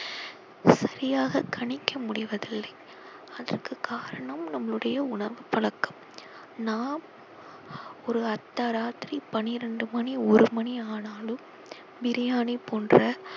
சரியாக கணிக்க முடிவதில்லை அதற்கு காரணம் நம்முடைய உணவு பழக்கம் நாம் ஒரு அர்த்த ராத்திரி பண்ணிரண்டு மணி ஒரு மணி ஆனாலும் பிரியாணி போன்ற